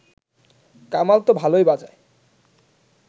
কামাল ত ভালই বাজায়